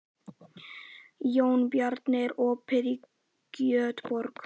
Jónbjarni, er opið í Kjötborg?